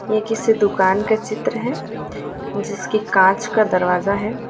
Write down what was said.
ये किसी दुकान का चित्र है जिसकी कांच का दरवाजा है।